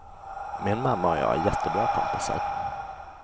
Min mamma och jag är jättebra kompisar.